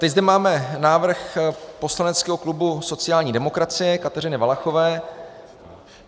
Teď zde máme návrh poslaneckého klubu sociální demokracie, Kateřiny Valachové.